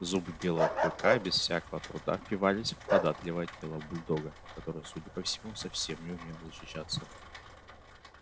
зубы белого клыка без всякого труда впивались в податливое тело бульдога который судя по всему совсем не умел защищаться